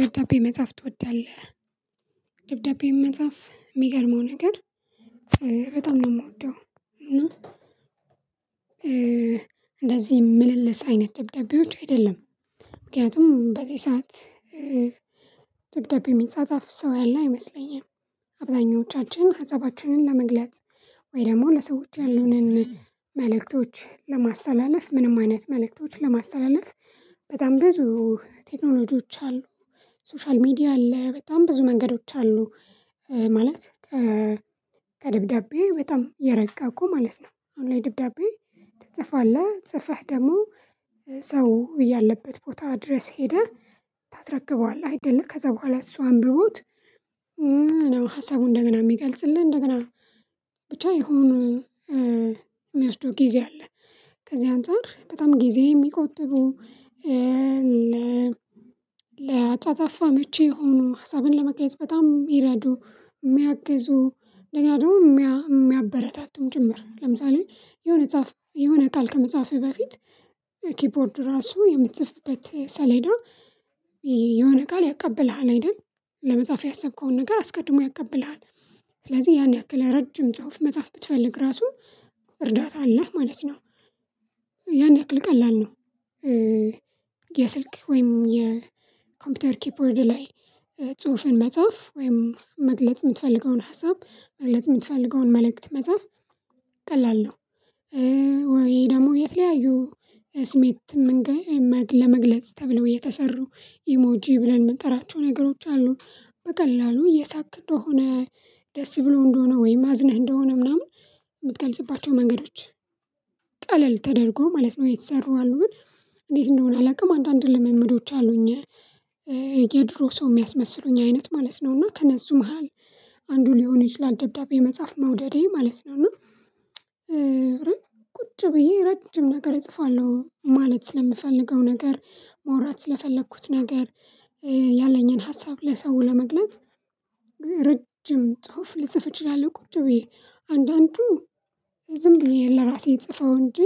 ደብዳቤ መጻፍ ትወዳለህ? ደብዳቤ መጻፍ የሚገርመው ነገር በጣም ነው የምወደው እና እንደዚህ ምልልስ አይነት ደብዳቤዎች አይደለም ምክንያቱም በዚህ ሰዓት ደብዳቤ ሚጻጻፍ ሰው ያለ አይመስለኝም። አብዛኞቻችን ሀሳባችንን ለመግለጽ ወይ ደግሞ ለሰዎች ያሉንን መልእክቶች ለማስተላለፍ ምንም አይነት መልእክቶች ለማስተላለፍ በጣም ብዙ ቴክኖሎጂዎች አሉ ሶሻል ሚዲያ አለ በጣም ብዙ መንገዶች አሉ። ማለት ከ ከደብዳቤ በጣም የረቀቁ ማለት ነው። አሁን ላይ ድብዳቤ ትጽፋለህ ጽፈህ ደግሞ ሰው ያለበት ቦታ ድረስ ሄደህ ታስረክበዋለህ አይደለ ከዚያ በኋላ እሱ አንብቦት ሀሳቡን እንደገና የሚገልጽልህ እንደገና ብቻ የሆኑ የሚወስደው ጊዜ አለ። ከዚህ አንፃር በጣም ጊዜ የሚቆጥቡ ለአፃፃፋ አመች የሆኑ ሀሳብን ለመግለጽ በጣም ምረዱ የሚያግዙ እንደገና ደግሞ የሚያበረታቱህም ጭምር ለምሳሌ የሆነ ጻፍ የሆነ ቃል ከመፃፍህ በፊት ኪፖርድ ራሱ የምትፅፍበት ሰሌዳ የሆነ ቃል ያቀብልሃል አይደል ለመጻፍ ያሰብከውን ነገር አስቀድሞ ያቀብልሃል። ስለዚህ ያን ያክል ረጅም ጽሁፍ መጽሐፍ ብትፈልግ ራሱ እርዳታ አለህ ማለት ነው። ያን ያክል ቀላል ነው። የስልክ ወይም የኮምፒውተር ኪፖርድ ላይ ጽሁፍን መጻፍ ወይም መግለጥ የምትፈልገውን ሀሳብ መግለጥ የምትፈልገውን መልእክት መጻፍ ቀላል ነው። ወይ ደግሞ የተለያዩ ስሜት መንገ ለመግለጽ ተብለው የተሰሩ ኢሞጂ ብለን የምንጠራቸው ነገሮች አሉ በቀላሉ እየሳክ እንደሆነ ደስ ብሎ እንደሆነ ወይም አዝነህ እንደሆነ ምናምን የምትገልጽባቸው መንገዶች ቀለል ተደርጎ ማለት ነው የተሰሩ አሉ። ግን እንዴት እንደሆነ አላውቅም አንዳንድ ልምምዶች አሉኝ የድሮ ሰው የሚያስመስሉኝ አይነት ማለት ነው እና ከነሱ መሃል አንዱ ሊሆን ይችላል ደብዳቤ መፃ ፍ መውደዴ ማለት ነው። እና ቁጭ ብዬ ረጅም ነገር እጽፋለሁ ማለት ስለምፈልገው ነገር ማውራት ስለፈለኩት ነገር ያለኝን ሀሳብ ለሰው ለመግለጽ ርጅ ጽሁፍ ልጽፍ እችላለሁ ቁጭ ብዬ አንዳንዱ ዝም ብዬ ለራሴ ምጽፈው እንጂ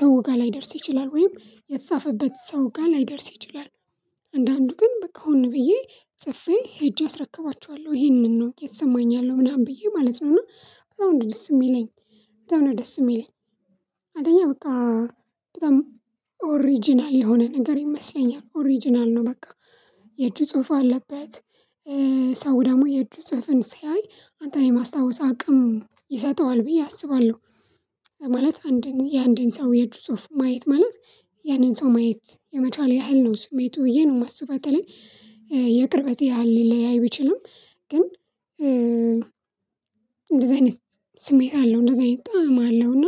ሰው ጋር ላይደርስ ይችላል ወይም የተጻፈበት ሰው ጋር ላይደርስ ይችላል። አንዳንዱ ግን በቃ ሆኖ ብዬ ጽፌ ሄጄ አስረክባችኋለሁ ይሄንን ነው የተሰማኝ ያለው ምናምን ብዬ ማለት ነው። እና በጣም ነው ደስ የምለኛል በጣም ነው ደስ የሚለኝ አንደኛ በቃ በጣም ኦሪጅናል የሆነ ነገር ይመስለኛል ኦሪጅናል ነው በቃ የእጁ ጽሁፍ አለበት ሰው ደግሞ የእጅ ጽፍን ሲያይ አንተን የማስታወስ አቅም ይሰጠዋል ብዬ አስባለሁ ማለት አንድን የአንድን ሰው የእጁ ጽሁፍ ማየት ማለት ያንን ሰው ማየት የመቻል ያህል ነው ስሜቱ ብዬ ነው የማስበው። በተለይ የቅርበት ያህል ሊለያይ ቢችልም ግን እንደዚህ አይነት ስሜት አለው እንደዚህ አይነት ጣዕም አለው እና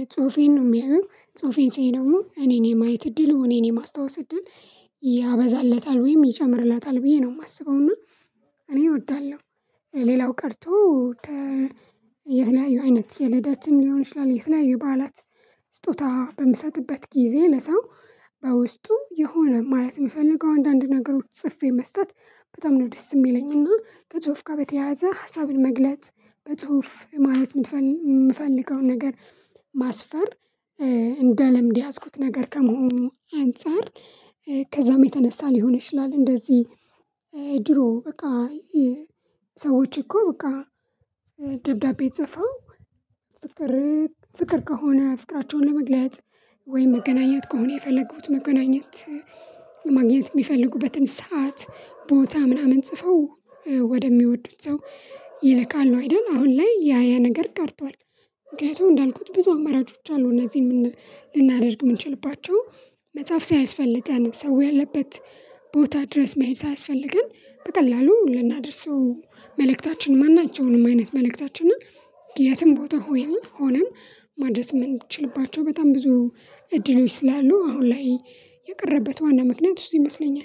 የጽሁፌን ነው የሚያየው ጽሁፌን ስያይ ደግሞ እኔን የማየት እድል እኔን የማስታወስ እድል ያበዛለታል ወይም ይጨምርላታል ብዬ ነው የማስበው። እና እኔ እወዳለሁ። ሌላው ቀርቶ የተለያዩ አይነት የልደትም ሊሆን ይችላል የተለያዩ የባዓላት ስጦታ በምሰጥበት ጊዜ ለሰው በውስጡ የሆነ ማለት የምፈልገው አንዳንድ ነገሮች ጽፌ መስጠት በጣም ነው ደስ የሚለኝና ከፅሁፍ ጋር በተያያዘ ሀሳብን መግለጥ በጽሁፍ ማለት የምትፈልገውን ነገር ማስፈር እንደ ልምድ የያዝኩት ነገር ከመሆኑ አንፃር ከዚያም የተነሳ ሊሆን ይችላል። እንደዚህ ድሮ በቃ ሰዎች እኮ በቃ ደብዳቤ ጽፈው ፍቅር ከሆነ ፍቅራቸውን ለመግለጽ ወይም መገናኘት ከሆነ የፈለጉት መገናኘት ማግኘት የሚፈልጉበትን ሰዓት ቦታ ምናምን ጽፈው ወደሚወዱት ሰው ይልካሉ አይደል አሁን ላይ ያ ያ ነገር ቀርቷል። ምክንያቱም እንዳልኩት ብዙ አማራጮች አሉ እነዚህን ልናደርግ የምንችልባቸው መጽሐፍ ሳይስፈልገን ሰው ያለበት ቦታ ድረስ መሄድ ሳይስፈልገን በቀላሉ ልናደርሰው መልእክታችን ማናቸውንም አይነት መልእክታችንን እና የትም ቦታ ሆነን ማድረስ የምንችልባቸው በጣም ብዙ እድሎች ስላሉ አሁን ላይ የቀረበት ዋና ምክንያት እሱ ይመስለኛል